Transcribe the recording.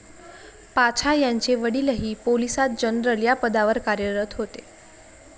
पाछा यांचे वडीलही पोलिसात जनरल या पदावर कार्यरत होते.